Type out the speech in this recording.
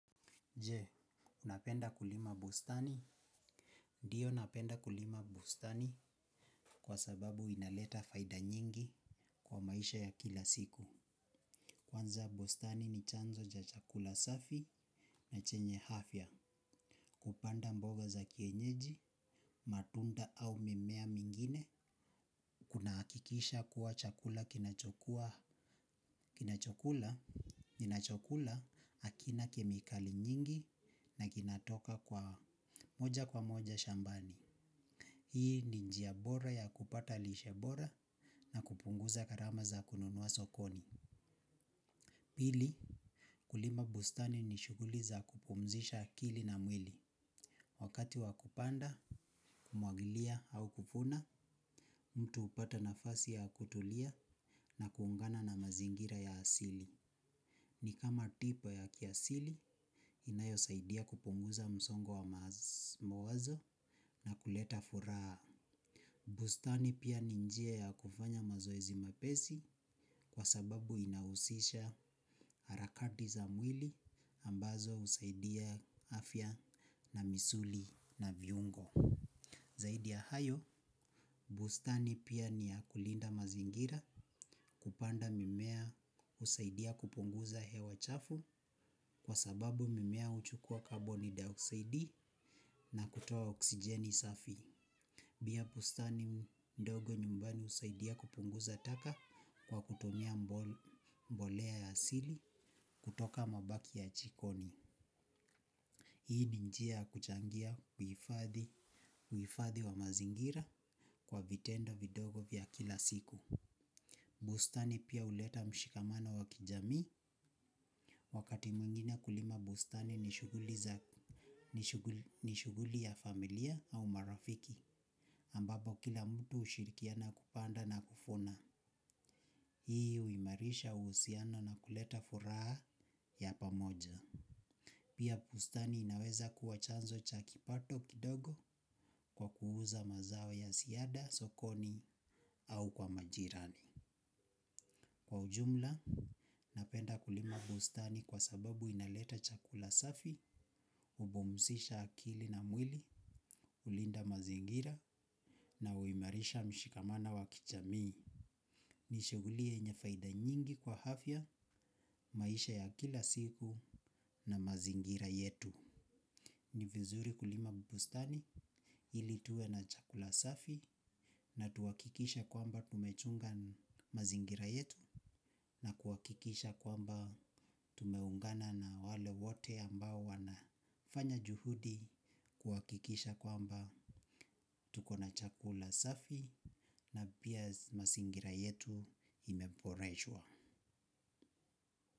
Je, unapenda kulima bustani? Ndiyo napenda kulima bustani kwa sababu inaleta faida nyingi kwa maisha ya kila siku. Kwanza bostani ni chanzo cha chakula safi na chenye hafya. Kupanda mboga za kienyeji, matunda au mimeha mingine. Kuna akikisha kuwa chakula kinachokula. Kinachokula akina kemikali nyingi na kinatoka kwa moja kwa moja shambani. Hii ni njiya bora ya kupata lishe bora na kupunguza gharama za kununuwa sokoni. Pili, kulima bustani ni shuguli za kupumzisha kili na mwili. Wakati wa kupanda, kumwagilia au kuvuna, mtu upata nafasi ya kutulia na kuungana na mazingira ya asili. Ni kama tipa ya kiasili, inayo saidia kupunguza msongo wa mawazo na kuleta furaha. Bustani pia ninjia ya kufanya mazoezi mahepesi kwa sababu inahusisha harakati za mwili ambazo usaidia afya na misuli na viungo. Zaidi ya hayo, bustani pia ni ya kulinda mazingira kupanda mimea usaidia kupunguza hewa chafu kwa sababu mimea uchukua carbon dioxide na kutuwa oksijeni safi. Pia bustani ndogo nyumbani usaidia kupunguza taka kwa kutumia mboleya ya asili kutoka mabaki ya jikoni. Hii ni njia ya kuchangia uifadhi wa mazingira kwa vitendo vidogo vya kila siku. Bustani pia uleta mshikamano wa kijamii wakati mwingina kulima bustani ni shughuli ya familia au marafiki. Ambapo kila mtu ushirikiana kupanda na kuvuna. Hii uimarisha uhusiano na kuleta furaha ya pamoja. Pia bustani inaweza kuwa chanzo cha kipato kidogo kwa kuuza mazaho ya ziada, sokoni au kwa majirani. Kwa ujumla napenda kulima bustani kwa sababu inaleta chakula safi hupumzisha akili na mwili, hulinda mazingira na huimarisha mushikamano wa kijamii. Ni shighuli yenye faida nyingi kwa hafya maisha ya kila siku na mazingira yetu. Nivizuri kulima bustani ili tuwe na chakula safi na tuwakikisha kwamba tumechunga mazingira yetu na kuwakikisha kwamba tumeungana na wale wote ambao wana fanya juhudi. Kuwakikisha kwamba tuko na chakula safi na pia mazingira yetu imeboreshwa.